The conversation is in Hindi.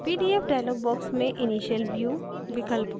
pdf dialog box में initial view विकल्प को बदलें